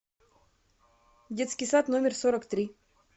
детский сад номер сорок три